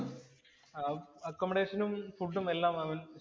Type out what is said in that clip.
അഹ് അക്കോമഡേഷനും, ഫുഡും എല്ലാം അവന്‍